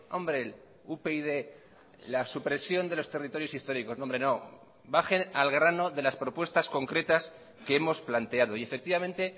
hombre upyd la supresión de los territorios históricos no hombre no bajen al grano de las propuestas concretas que hemos planteado y efectivamente